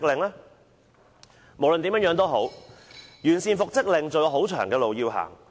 無論如何，完善復職令安排還有很長的路要走。